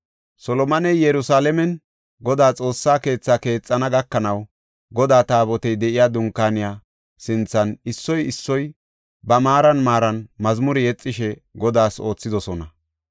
Solomoney Yerusalaamen Godaa Xoossaa keetha keexana gakanaw, Godaa Taabotey de7iya Dunkaaniya sinthan issoy issoy ba maaran maaran mazmure yexishe Godaas oothidosona.